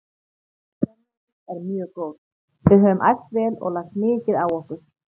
Stemningin er mjög góð, við höfum æft vel og lagt mikið á okkur.